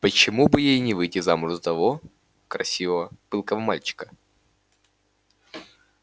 почему бы ей не выйти замуж за того красивого пылкого мальчика